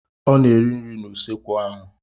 Ọ na-eri nri n'usekwu ahụ.